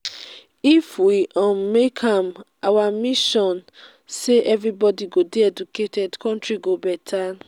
if we um make am our mission say everybody go dey educated country go better